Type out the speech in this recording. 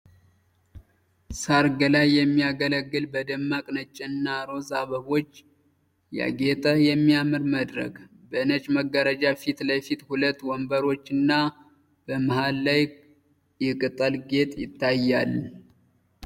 ሠርግ ላይ የሚያገለግል በደማቅ ነጭና ሮዝ አበቦች ያጌጠ የሚያምር መድረክ። በነጭ መጋረጃ ፊት ለፊት ሁለት ወንበሮች እና በመሃል ላይ የቅጠል ጌጥ ይታያል።